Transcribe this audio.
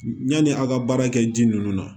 Yani a ka baara kɛ ji nunnu na